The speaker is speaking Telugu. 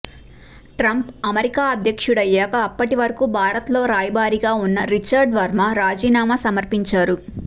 ట్రంప్ అమెరికా అధ్యక్షుడయ్యాక అప్పటి వరకూ భారత్లో రాయబారిగా ఉన్న రిచర్డ్ వర్మ రాజీనామా సమర్పించారు